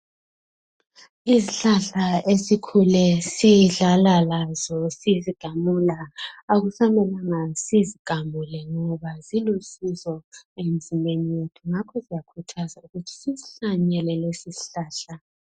Izihlahla esikhule sidlala lazo sizigamula akusamelanga sizigamule ngoba zilusizo emzimbeni yethu ngakho siyakhuthaza ukuthi sisihlanyele lesisihlahla.